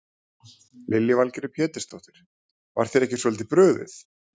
Lillý Valgerður Pétursdóttir: Var þér ekki svolítið brugðið?